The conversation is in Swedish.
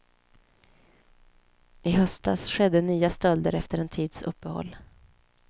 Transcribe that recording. I höstas skedde nya stölder efter en tids uppehåll.